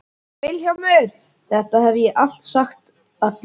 VILHJÁLMUR: Þetta hef ég alltaf sagt: Allir